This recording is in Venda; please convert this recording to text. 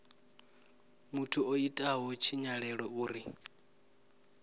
muthu o itaho tshinyalelo uri